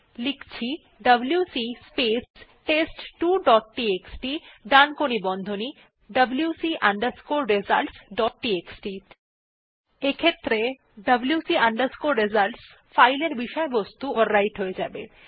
লিখছি WC space test two dot TXT ডানকোণী বন্ধনী wc results ডট টিএক্সটি এক্ষেত্রে wc results ফাইলের বিষয়বস্তু ওভাররাইট হয়ে যাবে